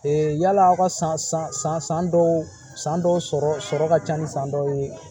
yala aw ka san san san dɔw san dɔw sɔrɔ ka ca ni san dɔw ye